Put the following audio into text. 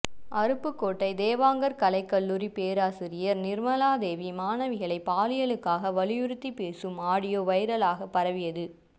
அருப்புக்கோட்டை தேவாங்கர் கலைக்கல்லூரி பேராசிரியர் நிர்மலா தேவி மாணவிகளை பாலியலுக்காக வற்புறுத்தி பேசும் ஆடியோ வைரலாக பரவியது